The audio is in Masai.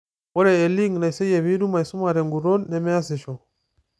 Ore elink naiseyieki piitum aisuma te nguton, nemeasisho.